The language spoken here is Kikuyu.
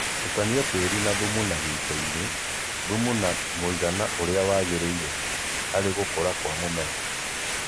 Tukania tĩĩri na thumu na gĩitoinĩ.Thumu na mũigana ũrĩa wagĩrĩire harĩgũkũra kwa mũmera